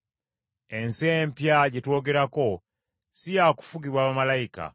Ensi empya gye twogerako si yakufugibwa bamalayika.